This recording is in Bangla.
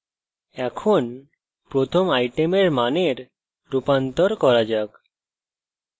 এখন প্রথম item মানের রূপান্তর করা যাক